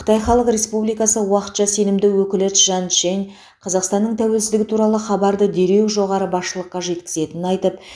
қытай халық республикасы уақытша сенімді өкілі чжан чжэнь қазақстанның тәуелсіздігі туралы хабарды дереу жоғары басшылыққа жеткізетінін айтып